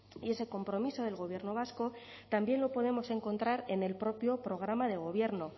y ese compromiso del gobierno vasco también lo podemos encontrar en el propio programa de gobierno